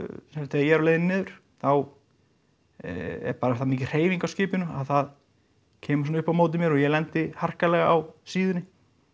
er á leið niður þá er bara það mikil hreyfing á skipinu að það kemur svona upp á móti mér og ég lendi harkalega á síðunni